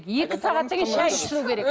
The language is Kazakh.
екі сағаттан кейін шай ішілу керек